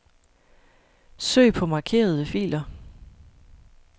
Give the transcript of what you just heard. Søg på markerede filer.